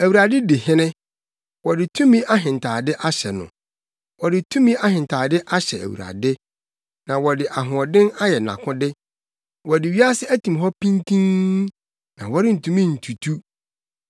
Awurade di hene, wɔde tumi ahentade ahyɛ no; wɔde tumi ahentade ahyɛ Awurade na wɔde ahoɔden ayɛ nʼakode. Wɔde wiase atim hɔ pintinn; na wɔrentumi ntutu.